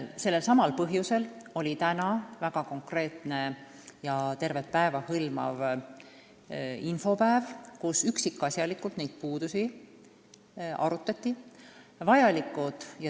Selsamal põhjusel oli täna väga konkreetne ja tervet päeva hõlmav infopäev, kus neid puudusi üksikasjalikult arutati.